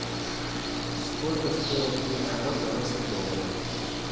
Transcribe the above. сколько стоит тридцать два канадских доллара